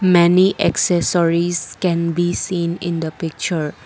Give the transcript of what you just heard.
many accessories can be seen in the picture.